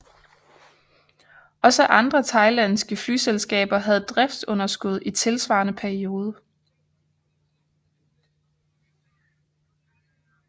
Også andre thailandske flyselskaber havde driftsunderskud i tilsvarende periode